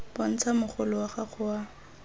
bontsha mogolo wa gago wa